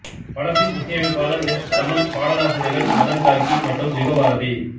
படத்தின் இசையமைப்பாளர் எஸ் தமன் பாடலாசிரியர்கள் மதன் கார்க்கி மற்றும் யுகபாரதி